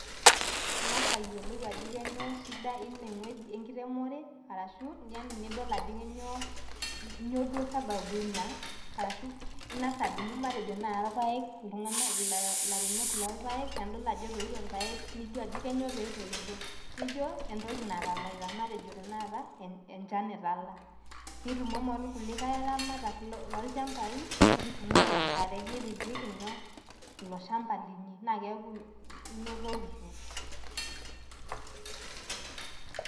Ing'as ayiolou ajo kainyioo shida inewueji enkiremore arashu nidol ajo kainyioo duo sababu ina ashu ing'as adumu matejo naai irpaek ilairemok lorpaek tenidol ajo etoito irpaek niyiolou ajo kainyioo pee etoito, nijo entoki natalaita matejo tanakata enchan etala nitumomo orkulikai aramatak lolchambai niturruru enkare nipikipiki nyoo ilo shamba linyi naa keeku inotokitio.